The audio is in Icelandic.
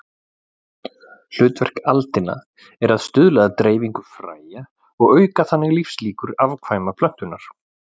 Hlutverk aldina er að stuðla að dreifingu fræja og auka þannig lífslíkur afkvæma plöntunnar.